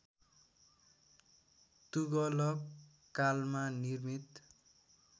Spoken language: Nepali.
तुगलक कालमा निर्मित